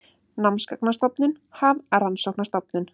Námsgagnastofnun- Hafrannsóknastofnun.